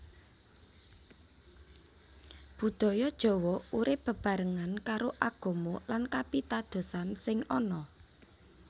Budaya Jawa urip bebarengan karo Agama lan Kapitadosan sing ana